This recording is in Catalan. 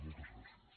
moltes gràcies